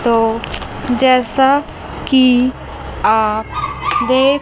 तो जैसा कि आप देख--